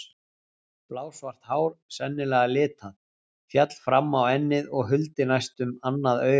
Blásvart hár, sennilega litað, féll fram á ennið og huldi næstum annað augað.